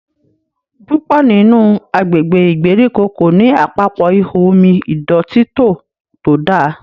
púpọ nínú agbègbè ìgbèríko ko ní Àpapọ̀ ihò omi ìdọ̀tító to dá.